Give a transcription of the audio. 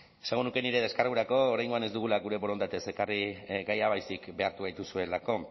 esango nuke nire deskargurako oraingoan ez dugula gure borondatez ekarri gaia baizik behartu gaituzuelako